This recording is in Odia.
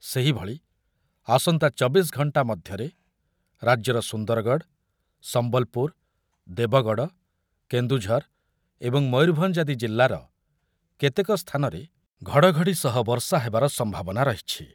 ସେହିଭଳି ଆସନ୍ତା ଚବିଶି ଘଣ୍ଟା ମଧ୍ୟରେ ରାଜ୍ୟର ସୁନ୍ଦରଗଡ଼, ସମ୍ବଲପୁର, ଦେବଗଡ଼, କେନ୍ଦୁଝର ଏବଂ ମୟୂରଭଞ୍ଜ ଆଦି ଜିଲ୍ଲାର କେତେକ ସ୍ଥାନରେ ଘଡ଼ଘଡ଼ି ସହ ବର୍ଷା ହେବାର ସମ୍ଭାବନା ରହିଛି ।